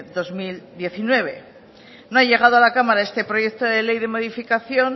dos mil diecinueve no ha llegado a la cámara este proyecto de ley de modificación